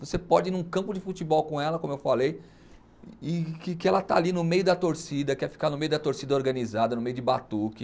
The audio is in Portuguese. Você pode ir num campo de futebol com ela, como eu falei, e que que ela está ali no meio da torcida, quer ficar no meio da torcida organizada, no meio de batuque.